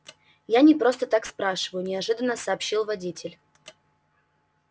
я не просто так спрашиваю неожиданно сообщил водитель